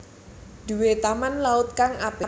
Duwe Taman laut kang apik